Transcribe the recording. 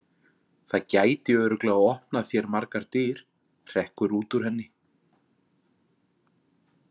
Það gæti örugglega opnað þér margar dyr, hrekkur út úr henni.